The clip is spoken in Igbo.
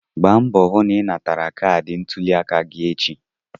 Gba mbọ hụ na ị natara kaadị ntuliaka gị echi!